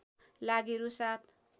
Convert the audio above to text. लागि रु ७